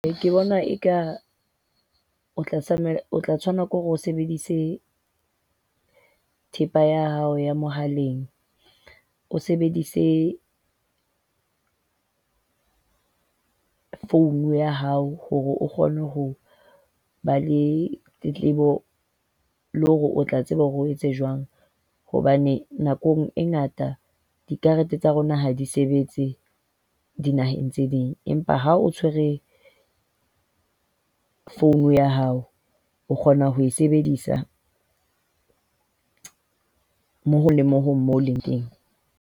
Ke bona eka o tla tlameha o tshwanela hore o sebedise thepa ya hao ya mohaleng. O sebedise phone ya hao hore o kgone ho ba le tletlebo, le hore o tla tseba hore o etse jwang. Hobane nakong e ngata dikarete tsa rona ha di sebetse dinaheng tse ding, empa ha o tshwere phone ya hao o kgona ho e sebedisa mo le mong moo o leng teng.